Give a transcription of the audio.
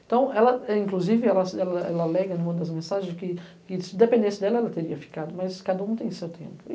Então, ela inclusive, ela ela ela alega em uma das mensagens que que, se dependesse dela, ela teria ficado, mas cada um tem o seu tempo.